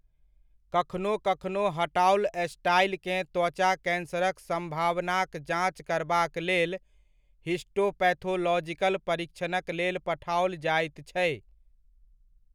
कखनो कखनो हटाओल स्टाइकेँ त्वचा कैंसरक सम्भावनाक जाँच करबाक लेल हिस्टोपैथोलॉजिकल परीक्षणक लेल पठाओल जाइत छै।